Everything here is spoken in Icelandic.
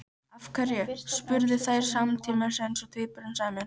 Af hverju? spurðu þær samtímis eins og tvíburum sæmir.